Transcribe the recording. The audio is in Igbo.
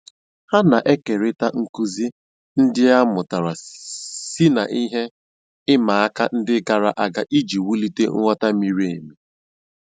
Ha na-ékérị̀ta nkụ́zí ndí a mụ́tàra sí ná ihe ị̀ma àka ndí gààrà àga ijì wùlìtè nghọ́tá mìrí èmì.